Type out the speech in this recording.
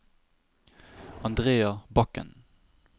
Andrea Bakken